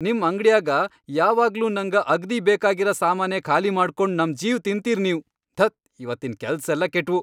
ನಿಮ್ ಅಂಗ್ಡ್ಯಾಗ ಯಾವಾಗ್ಲೂ ನಂಗ ಅಗ್ದೀ ಬೇಕಾಗಿರ ಸಾಮಾನೇ ಖಾಲಿ ಮಾಡ್ಕೊಂಡ್ ನಮ್ ಜೀವ್ ತಿನ್ತೀರ್ ನೀವ್..ಧತ್.. ಇವತ್ತಿನ್ ಕೆಲ್ಸೆಲ್ಲ ಕೆಟ್ವು.